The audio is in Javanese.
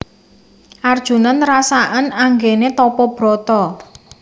Arjuna nerasaken anggene tapa brata